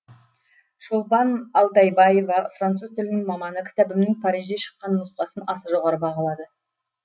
шолпан алтайбаева француз тілінің маманы кітабымның парижде шыққан нұсқасын аса жоғары бағалады